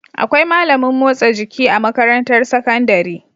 Akwai malamin motsa jiki a makarantar sakandari